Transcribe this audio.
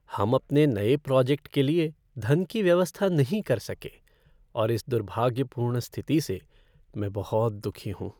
हम अपने नए प्रोजेक्ट के लिए धन की व्यवस्था नहीं कर सके और इस दुर्भाग्यपूर्ण स्थिति से मैं बहुत दुखी हूँ।